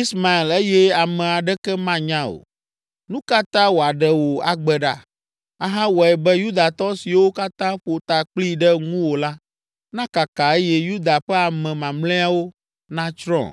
Ismael eye ame aɖeke manya o. Nu ka ta wòaɖe wò agbe ɖa, ahawɔe be Yudatɔ siwo katã ƒo ta kpli ɖe ŋuwò la nakaka eye Yuda ƒe ame mamlɛawo natsrɔ̃?”